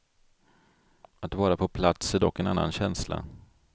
Att vara på plats är dock en annan känsla.